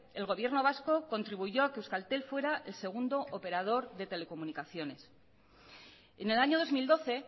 el gobierno vasco contribuyó a que euskaltel fuera el segundo operador de telecomunicaciones en el año dos mil doce